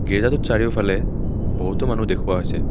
গিজ্জাটোত চাৰিওফালে বহুতো মানুহ দেখুওৱা হৈছে।